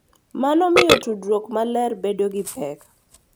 Mano miyo tudruok maler bedo gi pek,